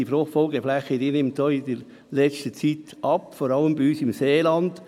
Denn die Fruchtfolgeflächen haben in der letzten Zeit abgenommen, vor allem bei uns im Seeland.